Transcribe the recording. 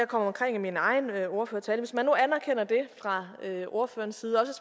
kom omkring i min egen ordførertale hvis man nu anerkender det fra ordførerens side og